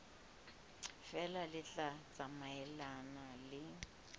feela le tla tsamaelana le